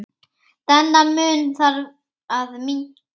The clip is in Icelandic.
Þennan mun þarf að minnka.